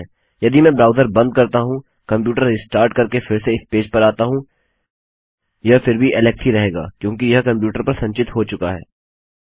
यदि मैं ब्राउज़र बंद करता हूँ कंप्यूटर रिस्टार्ट करके फिर से इस पेज पर आता हूँ यह फिर भी एलेक्स ही रहेगा क्योंकि यह कंप्यूटर पर संचित हो चुका है